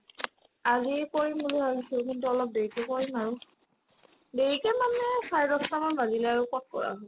আজি কৰিম বুলি ভাবিছিলো কিন্তু অলপ দেৰিকে কৰিম আৰু দেৰিকে মানে চাৰে দছটামান বাজিলে আৰু ক'ত কৰা হ'ব ?